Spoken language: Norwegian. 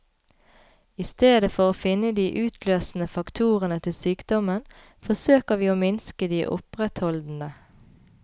I stedet for å finne de utløsende faktorene til sykdommen, forsøker vi å minske de opprettholdende.